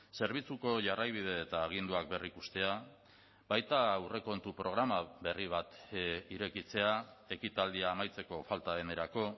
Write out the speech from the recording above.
zerbitzuko jarraibide eta aginduak berrikustea baita aurrekontu programa berri bat irekitzea ekitaldia amaitzeko falta denerako